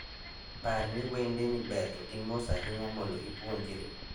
Par ni wende ni ber to gin mos ahinya mondo ipuonjri